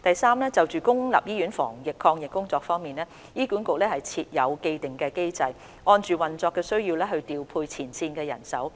三就公立醫院防疫抗疫工作方面，醫管局設有既定機制，按運作需要調配前線醫護人手。